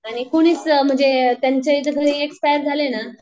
आणि कुणीच म्हणजे त्यांच्या इथे घरी एक्स्पायर झाले ना